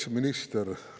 Kaitseminister!